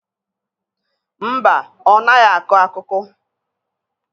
Mba, ọ naghị akụ akụkụ.